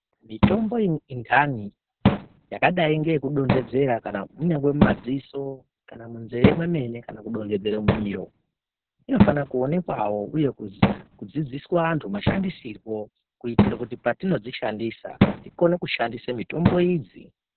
Mutombo intani yakadai ngeyekudondedzera kana kunyangwe mumadziso kana munzee mwemene kana kudonhedzere mumiro, inofana kuonekwawo uye kudzidziswa antu mashandisirwo kuitire kuti patinodzishandisa tikone kushandisawo mitombo idzi.